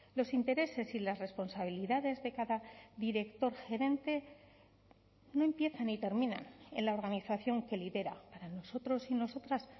los intereses y las responsabilidades de cada director gerente no empiezan ni terminan en la organización que lidera para nosotros y nosotras